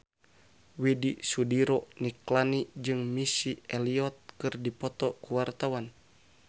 Widy Soediro Nichlany jeung Missy Elliott keur dipoto ku wartawan